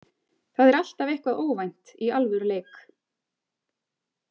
Það er alltaf eitthvað óvænt í alvöru leik.